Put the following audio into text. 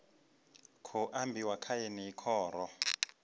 khou ambiwa kha yeneyi khoro